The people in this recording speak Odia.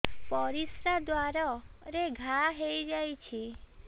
ପରିଶ୍ରା ଦ୍ୱାର ରେ ଘା ହେଇଯାଇଛି